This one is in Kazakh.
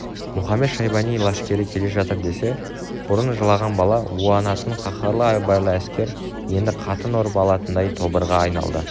мұхамед-шайбани лашкері келе жатыр десе бұрын жылаған бала уанатын қаһарлы айбарлы әскер енді қатын ұрып алатындай тобырға айналды